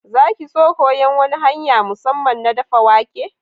Za ki so koyan wani hanya'n musamman na daffa wake?